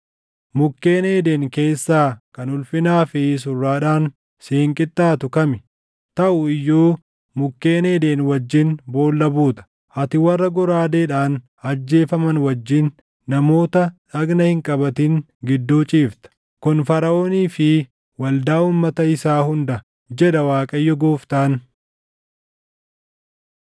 “ ‘Mukkeen Eeden keessaa kan ulfinaa fi surraadhaan siin qixxaatu kami? Taʼu iyyuu mukkeen Eeden wajjin boolla buuta; ati warra goraadeedhaan ajjeefaman wajjin, namoota dhagna hin qabatin gidduu ciifta. “ ‘Kun Faraʼoonii fi waldaa uummata isaa hunda, jedha Waaqayyo Gooftaan.’ ”